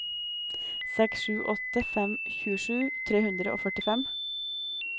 seks sju åtte fem tjuesju tre hundre og førtifem